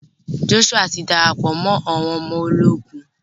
Joshua ti darapọ mọ àwọn ọmọ ológun